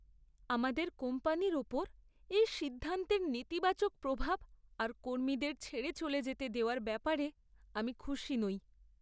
আমাদের কোম্পানির ওপর এই সিদ্ধান্তের নেতিবাচক প্রভাব আর কর্মীদের ছেড়ে চলে যেতে দেওয়ার ব্যাপারে আমি খুশি নই।